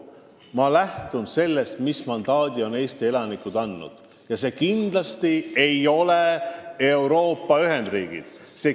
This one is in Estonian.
Ma lähtun sellest, mis mandaadi on Eesti elanikud andnud, ja see kindlasti ei ole Euroopa ühendriikide loomiseks.